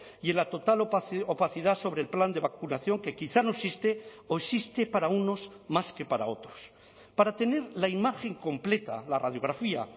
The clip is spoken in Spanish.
y en la total opacidad sobre el plan de vacunación que quizá no existe o existe para unos más que para otros para tener la imagen completa la radiografía